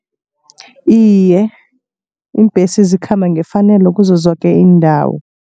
Iye, iimbhesi zikhamba ngefanelo kizo zoke iindawo.